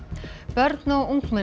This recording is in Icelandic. börn og ungmenni